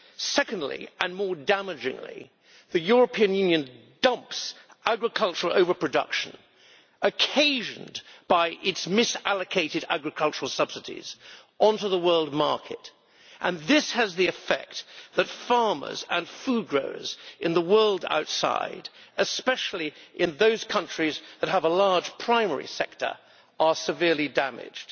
Secondly, and more damagingly, the European Union dumps agricultural over production, occasioned by its misallocated agricultural subsidies, onto the world market, and the effect of this is that farmers and food growers in the world outside especially in those countries that have a large primary sector are severely damaged.